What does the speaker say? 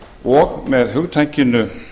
og með hugtakinu